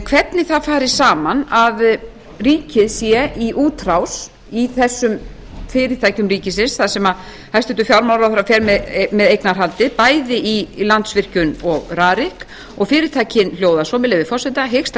hvernig það fari saman að ríkið sé í útrás í þessum fyrirtækjum ríkisins þar sem hæstvirtur fjármálaráðherra fer með eignarhaldið bæði í landsvirkjun og rarik og fyrirspurnin hljóðar svo með leyfi forseta hyggst